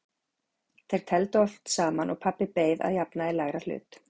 Þeir tefldu oft saman og pabbi beið að jafnaði lægra hlut.